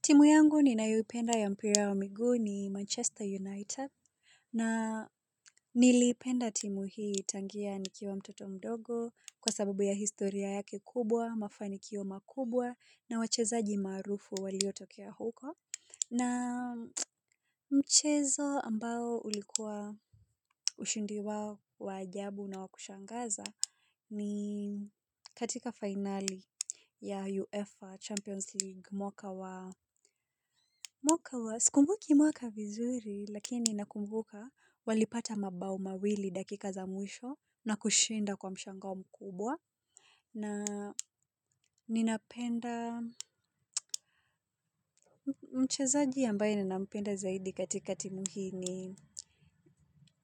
Timu yangu ninayoipenda ya mpira wa miguu ni Manchester United na nilipenda timu hii tangia nikiwa mtoto mdogo kwa sababu ya historia yake kubwa, mafanikio makubwa na wachezaji maarufu walio tokea huko. Na mchezo ambao ulikuwa ushindi wao wa ajabu na wakushangaza ni katika finali ya UEFA Champions League mwaka wa mwaka wa sikumbuki mwaka vizuri lakini nakumbuka walipata mabao mawili dakika za mwisho na kushinda kwa mshangao mkubwa. Na ninapenda mchezaji ambaye ninapenda zaidi katika timu hii ni